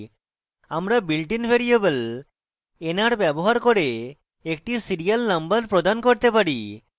আমরা built in variable nr ব্যবহার করে একটি serial number প্রদান করতে পারি